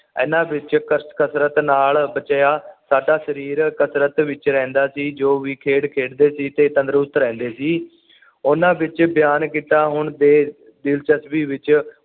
ਇਹਨਾਂ ਵਿੱਚ ਕਸ ਕਸਰਤ ਨਾਲ ਬਚਿਆ ਸਾਡਾ ਸਰੀਰ ਕਸਰਤ ਵਿੱਚ ਰਹਿੰਦਾ ਸੀ ਜੋ ਵੀ ਖੇਡ ਖੇਡਦੇ ਸੀ ਤੇ ਤੰਦਰੁਸਤ ਰਹਿੰਦੇ ਸੀ ਉਹਨਾਂ ਵਿੱਚ ਬਿਆਨ ਕੀਤਾ ਹੁਣ ਬੇ ਦਿਲਚਸਪੀ ਵਿੱਚ